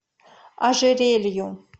ожерелью